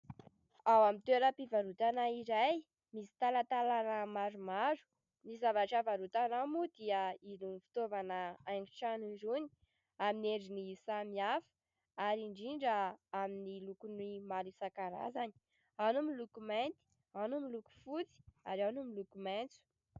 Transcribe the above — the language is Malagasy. Ao amin'ny toeram-pivarotana iray misy talatalàna maromaro. Ny zavatra varotana ao moa dia irony fitaovana haingotrano irony, amin'ny endriny samihafa ary indrindra amin'ny lokony maro isankarazany. Ao ny miloko mainty, ao ny miloko fotsy ary ao ny miloko maitso.